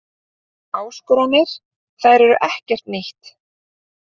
Áskoranir, þær eru ekkert nýtt.